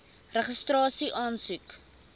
registrasieaansoek